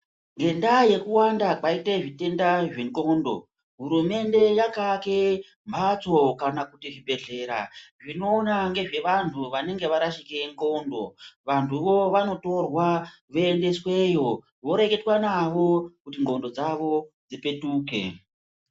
Ngendaa yekuwanda kwaite zvitenda zvendxondo, hurumende yakaake mphatso kana kuti zvibhedhlera zvinoona ngezvevanthu vanenge varashika ndxondo, vantuvo vanotorwa voendesweyo voreketwa navo kuti ndxondo dzavo dzipetuke.